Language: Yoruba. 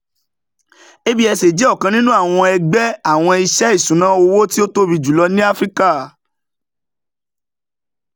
absa jẹ ọkan ninu awọn ẹgbẹ awọn iṣẹ iṣuna owo ti o tobi julo ni afirika.